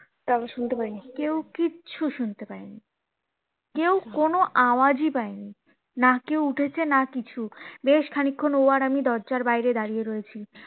শুনতে পায় নি কেউ কিছু শুনতে পায় নি কেউ কোনো আওয়াজ ই পায় নি না কেউ উঠেছে না কিছু বেশ কিছুক্ষন ও আর আমি দরজার বাইরে দাঁড়িয়ে রয়েছি